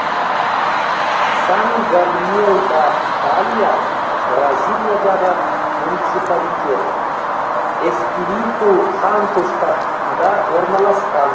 сан габриел да палья бразилиядағы муниципалитет эспириту санту штатында орналасқан